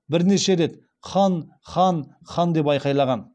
бірнеше рет хан хан хан деп айқайлаған